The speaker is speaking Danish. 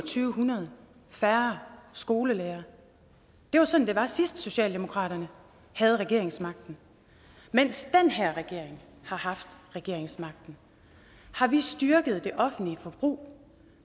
syv hundrede færre skolelærere det var sådan det var sidst socialdemokratiet havde regeringsmagten mens den her regering har haft regeringsmagten har vi styrket det offentlige forbrug